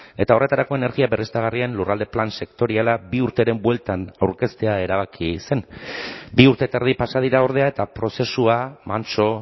eta horretarako energia berriztagarrien lurralde plan sektoriala bi urteren bueltan aurkeztea erabaki zen bi urte eta erdi pasa dira ordea eta prozesua mantso